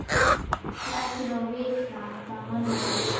Ég ætti nú að vita það manna best.